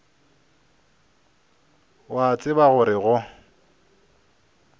o a tseba gore go